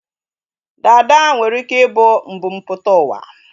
Dada nwere ike ị bụ mbumputauwa